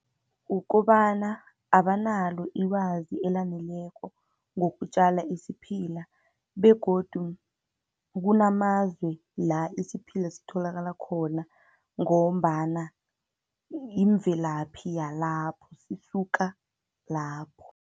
Ukobana abanalo ilwazi elaneleko ngokutjala isiphila, begodu kunamazwe la isiphila sitholakala khona, ngombana yimvelaphi yalapho, sisuka lapho.